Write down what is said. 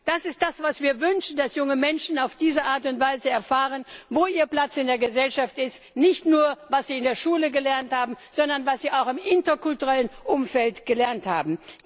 Das ist das, was wir uns wünschen, dass junge Menschen auf diese Art und Weise erfahren, wo ihr Platz in der Gesellschaft ist, nicht nur, was sie in der Schule gelernt haben, sondern auch, was sie im interkulturellen Umfeld gelernt haben.